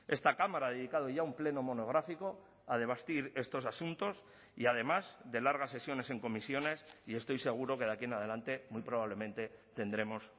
esta cámara ha dedicado ya un pleno monográfico a debatir estos asuntos y además de largas sesiones en comisiones y estoy seguro que de aquí en adelante muy probablemente tendremos